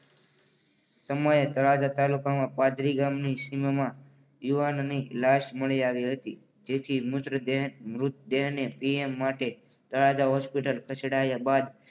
સમય તળાજા તાલુકો માં પાદરી ગામની સીમામાં યુવાનની લાશ મળી આવી હતી. તેથી મૂત્ર દે મૃત દેને પીએમ માટે તળાજા હોસ્પિટલ ખસેડાયા બાદ.